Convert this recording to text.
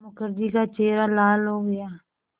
मुखर्जी का चेहरा लाल हो गया